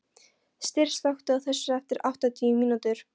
Styr, slökktu á þessu eftir áttatíu mínútur.